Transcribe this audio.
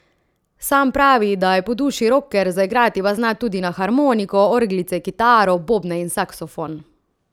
Sam pravi, da je po duši roker, zaigrati pa zna tudi na harmoniko, orglice, kitaro, bobne in saksofon.